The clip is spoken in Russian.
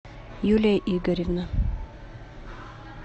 юлия игоревна